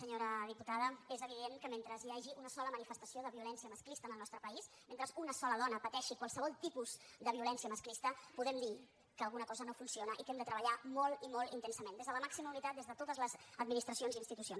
senyora diputada és evident que mentre hi hagi una sola manifestació de violència masclista en el nostre país mentre una sola dona pateixi qualsevol tipus de violència masclista podem dir que alguna cosa no funciona i que hem de treballar molt i molt intensament des de la màxima unitat des de totes les administracions i institucions